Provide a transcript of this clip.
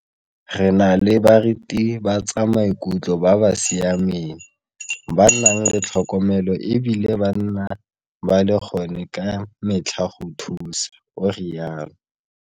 Re na le baritibatsamaikutlo ba ba siameng ba ba nang le tlhokomelo e bile ba nna ba le gone ka metlha go thusa, o rialo.